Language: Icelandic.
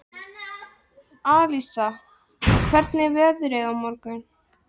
Alísa, hvernig er veðrið á morgun?